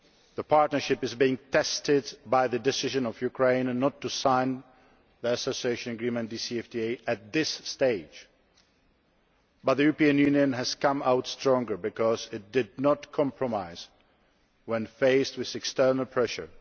The Partnership is being tested by the decision of Ukraine not to sign the AA DCFTA at this stage, but the European Union has come out stronger because it did not compromise when faced with external pressure.